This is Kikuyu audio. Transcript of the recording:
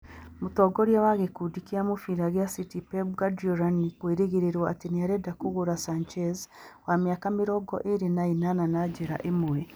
Mũtongoria wa gĩkundi kĩa mũbira kĩa City Pep Guardiola nĩ kwĩrĩgwo atĩ nĩ arenda kũgũra Sanchez, wa mĩaka mĩrongo ĩĩrĩ na ĩnana, na njĩra ĩmwe.